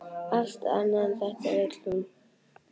Allt annað en þetta vill hún.